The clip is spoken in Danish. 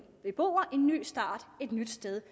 beboere en ny start et nyt sted